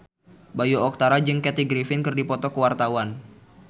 Bayu Octara jeung Kathy Griffin keur dipoto ku wartawan